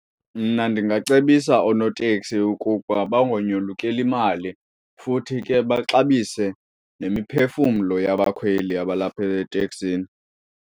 Mna ndingacebisa oonoteksi ukuba bangonyolukeli imali futhi ke baxabise nemiphefumlo yabakhweli abalapha eteksini.